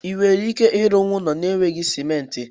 Ị nwere ike ịrụ ụlọ n'eweghị simenti?